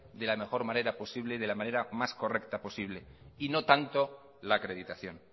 de la mejor manera importante de la manera más correcta posible y no tanto la acreditación